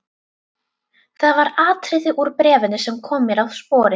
Það var atriði úr bréfinu sem kom mér á sporið.